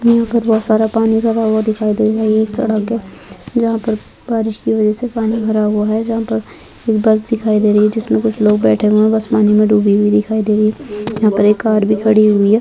यहाँ पर बहुत सारा पानी भरा हुआ दिखाई दे रहा है ये सड़क है जहाँ पर बारिश की वजह से पानी भरा हुआ है जहाँ पर एक बस दिखाई दे रही है जिसमें कुछ लोग बैठे हुए है बस पानी में डूबी हुई दिखाई दे रही है यहाँ पर एक कार भी खड़ी हुई है।